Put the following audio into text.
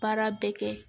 Baara bɛɛ kɛ